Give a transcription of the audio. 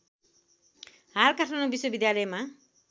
हाल काठमाडौँ विश्वविद्यालयमा